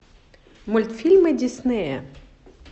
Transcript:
мультфильмы диснея